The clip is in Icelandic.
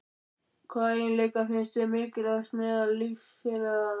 Hvaða eiginleika finnst þér mikilvægastir meðal liðsfélaga?